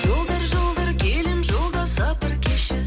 жолдар жолдар келем жолда сапар кешіп